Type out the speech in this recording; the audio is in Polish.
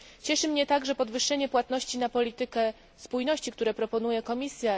Cieszy mnie także podwyższenie płatności na politykę spójności, które proponuje Komisja.